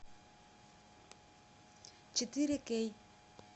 четыре кей